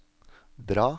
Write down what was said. dra